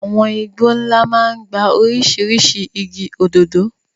Àwọn igbó ńlá máa ń gba oríṣiríṣi igi, òdòdó.